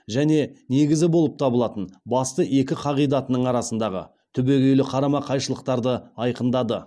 және негізі болып табылатын басты екі қағидатының арасындағы түбегейлі қарама қайшылықтарды айқындады